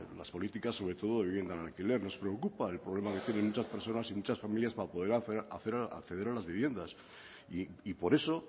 las políticas sobre todo de vivienda en alquiler nos preocupa el problema que tienen muchas personas y muchas familias para poder acceder a las viviendas y por eso